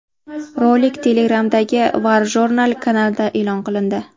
Rolik Telegram’dagi WarJournal kanalida e’lon qilindi .